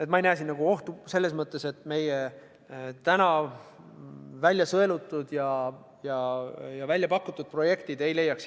Aga ma ei näe siin ohtu selles, et meie täna välja sõelutud ja välja pakutud projektid ei leiaks